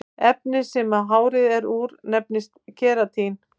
Efnið sem hárið er úr nefnist keratín.